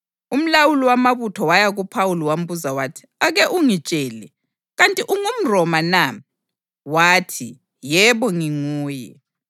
Umlawuli wamabutho waya kuPhawuli wambuza wathi, “Ake ungitshele, kanti ungumRoma na?” Wathi, “Yebo, nginguye.”